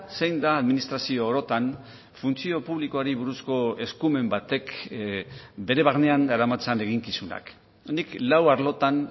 zein da administrazio orotan funtzio publikoari buruzko eskumen batek bere barnean daramatzan eginkizunak nik lau arlotan